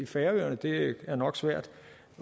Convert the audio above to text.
færøerne det er nok svært